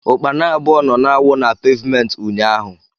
ukpana abụọ nọ na-awụ na pevmenti ụnyaahụ.